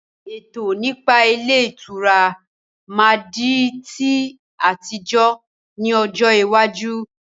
Ètò nípa ilé ìtura máa di ti àtijọ́ ni ọjọ́ iwájú